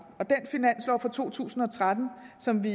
og for to tusind og tretten som vi